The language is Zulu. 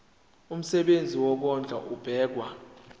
umsebenzi wokondla ubekwa